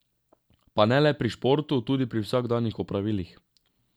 Pa ne le pri športu, tudi pri vsakdanjih opravilih.